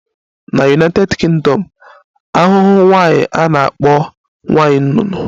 Na United Kingdom, ahụhụ nwaanyi a na-akpọ nwanyị nnụnụ